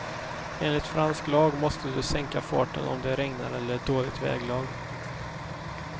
Enligt fransk lag måste du sänka farten om det regnar eller är dåligt väglag.